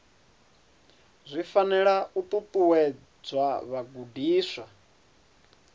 zwi fanela u ṱuṱuwedza vhagudiswa